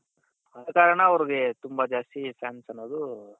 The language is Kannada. ಅದೇಕಾರಣ ಅವ್ರಿಗೆ ತುಂಬಾ ಜಾಸ್ತಿ fans ಅನ್ನೋದು